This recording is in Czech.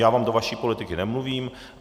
Já vám do vaší politiky nemluvím.